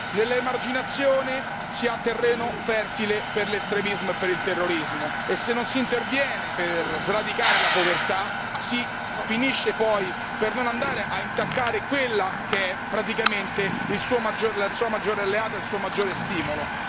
Nell'emarginazione si ha terreno fertile per l'estremismo e per il terrorismo e se non si interviene per sradicare la povertà si finisce poi per non andare a intaccare quella che è praticamente la sua maggiore alleata, il suo maggiore stimolo.